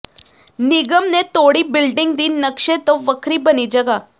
ਨਿਗਮ ਨੇ ਤੋੜੀ ਬਿਲਡਿੰਗ ਦੀ ਨਕਸ਼ੇ ਤੋਂ ਵੱਖਰੀ ਬਣੀ ਜਗ੍ਹਾ